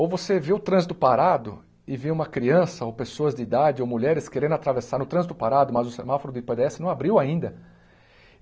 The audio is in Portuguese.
Ou você vê o trânsito parado e vê uma criança ou pessoas de idade ou mulheres querendo atravessar no trânsito parado, mas o semáforo do não abriu ainda.